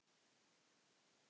Helga Guðrún.